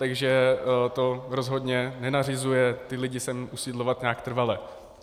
Takže to rozhodně nenařizuje ty lidi sem usidlovat nějak trvale.